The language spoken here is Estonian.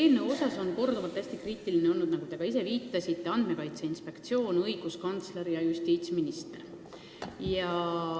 Seda eelnõu on korduvalt kritiseerinud, nagu te ka ise viitasite, Andmekaitse Inspektsioon, õiguskantsler ja justiitsminister.